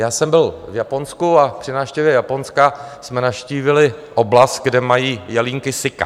Já jsem byl v Japonsku a při návštěvě Japonska jsme navštívili oblast, kde mají jelínky sika.